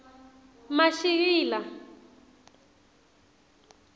mashikila